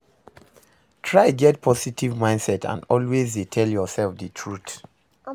Try get positive mindset and always de tell yourself di truth